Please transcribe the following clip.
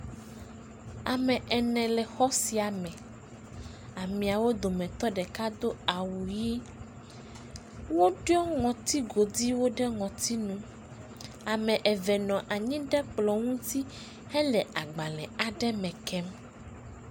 Ame ene le xɔ sia me, amea wo dometɔ ɖeka do awu ʋɛ̃, woɖɔ ŋŋti goduiwo ɖe ŋɔtinu, ame eve nɔ anyi ɖe kplɔ ŋuti hele agbalẽ aɖe me kem.